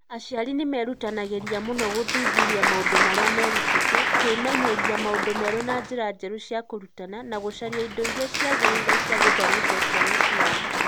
Aciari nĩ meerutanagĩria mũno gũthuthuria maũndũ marĩa merutĩte, kwĩmenyeria maũndũ merũ na njĩra njerũ cia kũrutana, na gũcaria indo iria ciagĩrĩire cia gũthomithia ciana ciao.